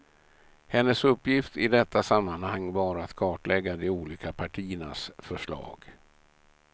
Hennes uppgift i detta sammanhang var att kartlägga de olika partiernas förslag.